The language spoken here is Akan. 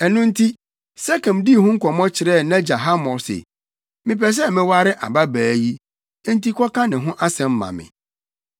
Ɛno nti, Sekem dii ho nkɔmmɔ kyerɛɛ nʼagya Hamor se, “Mepɛ sɛ meware ababaa yi, enti kɔka ne ho asɛm ma me!”